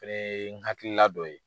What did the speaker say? fɛnɛ ye n hakilila dɔ ye.